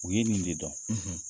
U ye nin de dɔn